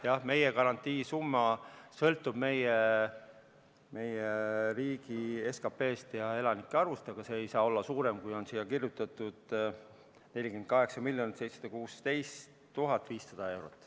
Jah, meie garantiisumma sõltub meie riigi SKP-st ja elanike arvust, aga see ei saa olla suurem, kui on siia kirjutatud – 48 716 500 eurot.